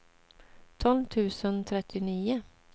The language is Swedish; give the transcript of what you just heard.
tolv tusen trettionio